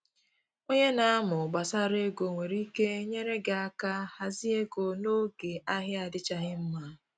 Onye na amụ gbasara ego nwere ike nyere gị aka hazie ego n’oge ahịa adịchaghị mma